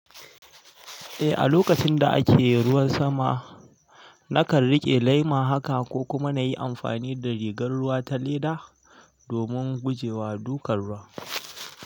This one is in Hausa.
Eh, a lokacin da ake ruwan sama, na kan riƙe lema haka ko kuma na yi amfani da rigar ruwa ta leda domin guje wa dukan ruwa.